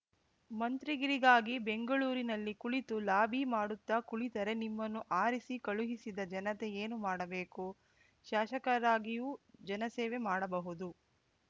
ಮಂತ್ರಿಗಿರಿಗಾಗಿ ಬೆಂಗಳೂರಿನಲ್ಲಿ ಕುಳಿತು ಲಾಭಿ ಮಾಡುತ್ತಾ ಕುಳಿತರೆ ನಿಮ್ಮನ್ನು ಆರಿಸಿ ಕಳುಹಿಸಿದ ಜನತೆ ಏನು ಮಾಡಬೇಕು ಶಾಸಕರಾಗಿಯೂ ಜನಸೇವೆ ಮಾಡಬಹುದು